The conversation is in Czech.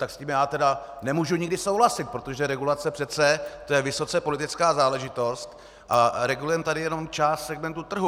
Tak s tím já teda nemůžu nikdy souhlasit, protože regulace přece, to je vysoce politická záležitost, a regulujeme tady jenom část segmentu trhu.